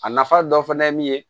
A nafa dɔ fana ye min ye